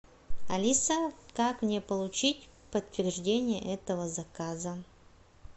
алиса как мне получить подтверждение этого заказа